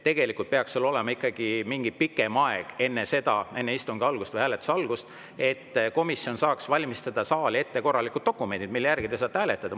Tegelikult peaks olema ikkagi mingi pikem aeg enne istungi algust või hääletuse algust, et komisjon saaks valmistada saali jaoks ette korralikud dokumendid, mille järgi te saate hääletada.